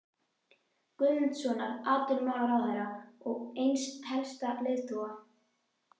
Guðmundssonar, atvinnumálaráðherra og eins helsta leiðtoga